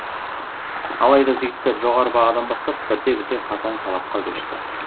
алайда жігіттер жоғары бағадан бастап бірте бірте қатаң талапқа көшті